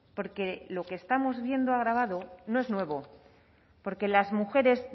porque lo que estamos viendo agravado no es nuevo porque las mujeres